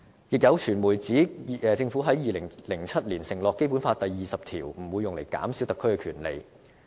亦有傳媒指政府在2007年承諾《基本法》第二十條不會用於減少特區的權利。